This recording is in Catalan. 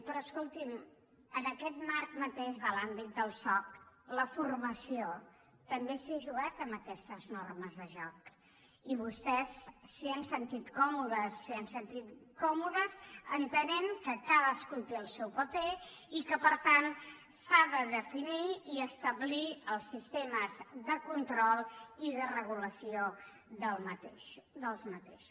però escoltin en aquest marc mateix de l’àmbit del soc la formació també s’hi ha jugat amb aquestes normes de joc i vostès s’hi han sentit còmodes s’hi ha sentit còmodes entenent que cadascú té el seu paper i que per tant s’han de definir i establir els sistemes de control i de regulació d’aquests